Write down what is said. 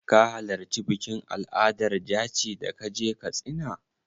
Ka halarci bikin al'adar jaci da ka je Katsina?